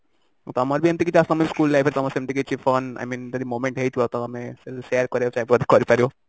ତମର ବି ଯଦି ସେମିତି କିଛି school life ରେ ସେମିତି କିଛି fun i mean ଯଦି moment ହେଇଥିବ ତ share କରିବାକୁ ଚାହିଁଲେ କରିପାରିବ